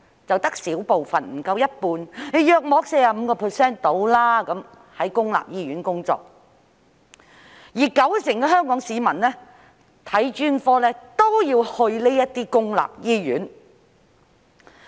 只有小部分，不足一半，大約 45% 的醫生在公立醫院工作，而九成香港市民看專科都要到公立醫院。